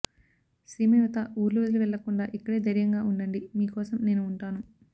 సీమ యువత ఊర్లు వదిలి వెళ్లకుండా ఇక్కడే ధైర్యంగా ఉండండి మీ కోసం నేను ఉంటాను